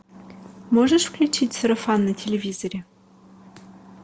можешь включить сарафан на телевизоре